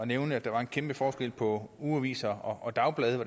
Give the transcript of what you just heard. nævne at der var en kæmpe forskel på ugeaviser og dagblade